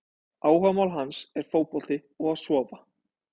Áhugamál hans er fótbolti og að sofa!